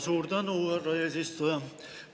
Suur tänu, härra eesistuja!